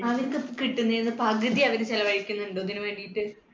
കിട്ടുന്നെന്ന് പകുതി അവർ ചെലവഴിക്കുന്നുണ്ടോ ഇതിനുവേണ്ടിട്ട്